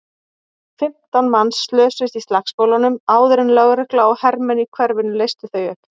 Fimmtán manns slösuðust í slagsmálunum áður en lögregla og hermenn í hverfinu leystu þau upp.